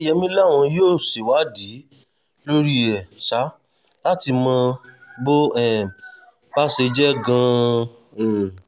oyeyèmí làwọn yóò ṣèwádìí lórí ẹ̀ ṣá láti mọ bó um bá ṣe jẹ́ gan-an um